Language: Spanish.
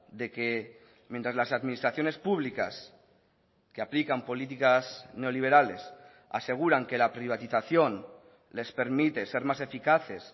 de que mientras las administraciones públicas que aplican políticas neoliberales aseguran que la privatización les permite ser más eficaces